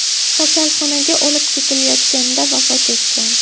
kasalxonaga olib ketilayotganida vafot etgan.